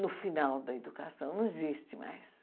No final da educação, não existe mais.